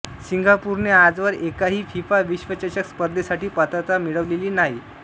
सिंगापूरने आजवर एकाही फिफा विश्वचषक स्पर्धेसाठी पात्रता मिळवलेली नाही